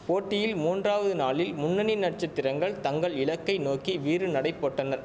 போட்டியில் மூன்றாவது நாளில் முன்னணி நட்சத்திரங்கள் தங்கள் இலக்கை நோக்கி வீறு நடை போட்டனர்